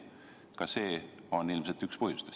Ka see on ilmselt üks põhjusi.